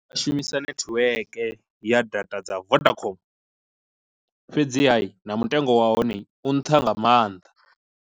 U shumisa netiweke ya data dza vodacom, fhedziha na mutengo wa hone u nṱha nga maanḓa.